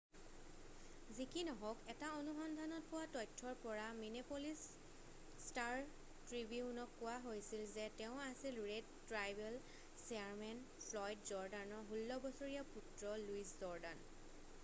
যি কি নহওক এটা অনুসন্ধানত পোৱা তথ্যৰ পৰা মিনেপ'লিচ ষ্টাৰ-ট্ৰিবিউনক কোৱা হৈছিল যে তেওঁ আছিল ৰেড ট্ৰাইবেল চেয়াৰমেন ফ্লয়ড জৰ্ডানৰ 16 বছৰীয়া পুত্ৰ লুইচ জৰ্ডান